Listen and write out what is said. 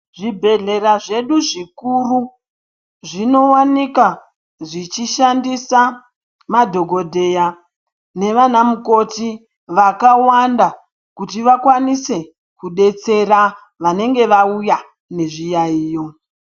Zvibhehlera zvedu zvikuru zvinowanika zvichishandisa madhokodheya nevana mukoti vakawanda kuti vakwanise kubetsera vanenge vauya nezviyayiyo.